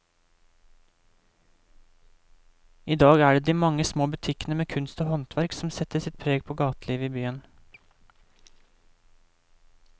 I dag er det de mange små butikkene med kunst og håndverk som setter sitt preg på gatelivet i byen.